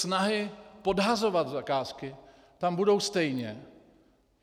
Snahy podhazovat zakázky tam budou stejně.